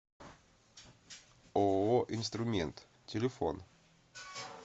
ооо инструмент телефон